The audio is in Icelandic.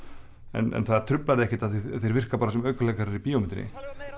en það truflar þig ekkert því þeir virka bara sem aukaleikarar í bíómyndinni